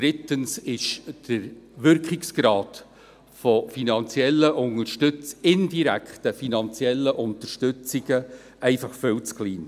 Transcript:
drittens ist der Wirkungsgrad von indirekten finanziellen Unterstützungen einfach viel zu gering.